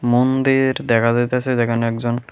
মন্দির দেখা যাইতাসে যেখানে একজন--